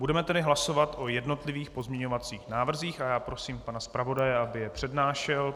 Budeme tedy hlasovat o jednotlivých pozměňovacích návrzích a já prosím pana zpravodaje, aby je přednášel.